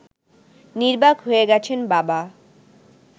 নির্বাক হয়ে গেছেন বাবা